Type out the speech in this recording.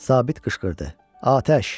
Sabit qışqırdı: Atəş!